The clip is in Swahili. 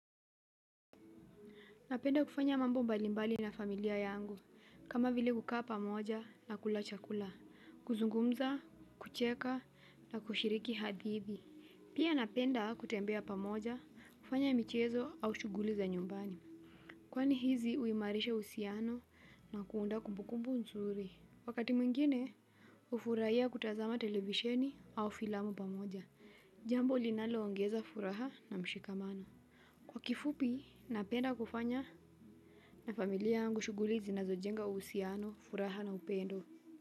Napenda kufanya mambo mbalimbali na familia yangu kama vile kukaa pamoja na kula chakula, kuzungumza, kucheka na kushiriki hadithi pia napenda kutembea pamoja, kufanya michezo au shughuli za nyumbani kwani hizi huimarisha uhusiano na kuondoa kumbukumbu nzuri wakati mwingine hufurahia kutazama televisheni au filamu pamoja jambo linaloongeza furaha na mshikamano. Kwa kifupi napenda kufanya na familia yangu shughuli zinazojenga uhusiano, furaha na upendo.